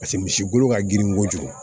Paseke misi golo ka girin kojugu